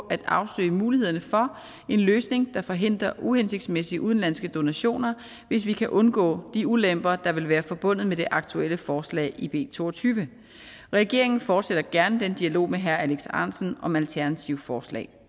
at afsøge mulighederne for en løsning der forhindrer uhensigtsmæssige udenlandske donationer hvis vi kan undgå de ulemper der vil være forbundet med det aktuelle forslag i b toogtyvende regeringen fortsætter gerne dialogen med herre alex ahrendtsen om alternative forslag